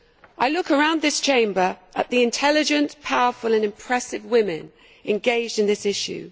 I look around this Chamber at the intelligent, powerful and impressive women engaged in this issue.